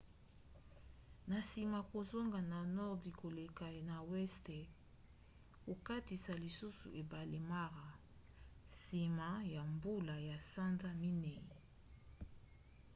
na nsima kozonga na nordi koleka na weste kokatisa lisusu ebale mara nsima ya bambula ya sanza ya minei